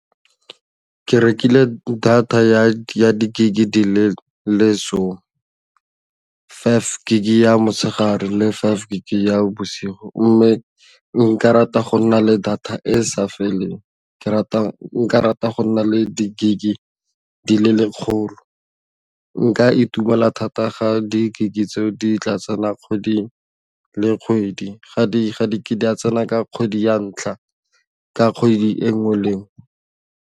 Ke rekile data ya di-gig ke di le lesome five gig ya motshegare le five gig ya bosigo mme nka rata go nna le data e e sa feleng nka rata go nna le di-gig di le lekgolo nka itumela thata ga di-gig tseo di tla tsena kgwedi le kgwedi ga di ke di a tsena ka kgwedi ya ntlha ka kgwedi e nngwe le nngwe.